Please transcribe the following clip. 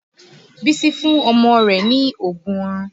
Bísí fún ọmọ rẹ̀ ní oògùn oorun